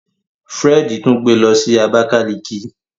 Fred tún gbé ló sì Abakaliki.